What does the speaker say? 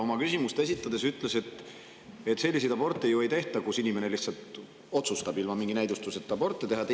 Oma küsimust esitades ta ütles, et selliseid aborte ju ei tehta, kus inimene ilma mingi näidustuseta otsustab aborti teha.